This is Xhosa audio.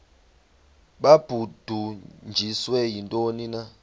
babudunjiswe yintoni na